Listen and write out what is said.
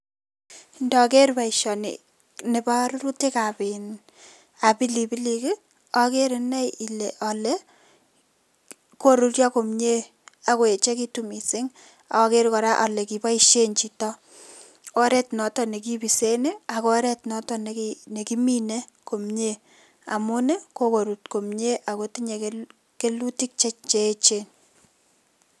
Ndoker boishoni nebo rurutikab pilipilik i okeree inei olee koruryo komnyee akoyechekitun mising okeree kora ole kiboishen chito oreet nekibisen ak oreet noton nekimine komnye amun kokorut komie akotinye kelutik cheechen.